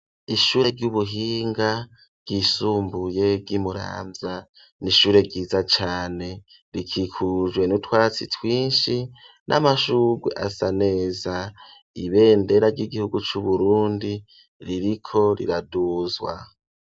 Ishure ry'ubuhinga ryisumbuye ry' i Muramvya. Ni ishure ryiza cane rikikujwe n' utwatsi twinshi n'amashurwe asa neza. Ibendera ry'igihugu c'Uburundi ririko riraduzwa.